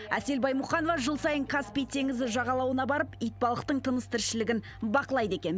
әсел баймұқанова жыл сайын каспий теңізі жағалауына барып итбалықтың тыныс тіршілігін бақылайды екен